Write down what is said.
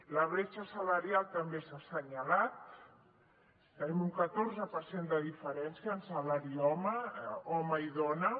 la bretxa salarial també s’ha assenyalat tenim un catorze per cent de diferència en salari home i dona